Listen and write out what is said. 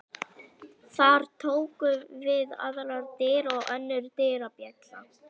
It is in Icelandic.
Þar tóku við aðrar dyr og önnur dyrabjalla.